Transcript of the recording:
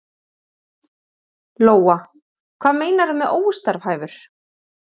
Lóa: Hvað meinarðu með óstarfhæfur?